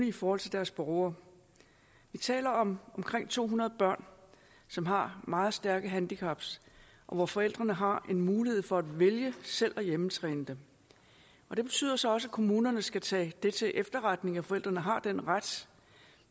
i forhold til deres borgere vi taler om omkring to hundrede børn som har meget stærke handicaps og hvor forældrene har mulighed for at vælge selv at hjemmetræne dem det betyder så også at kommunerne skal tage det til efterretning at forældrene har den ret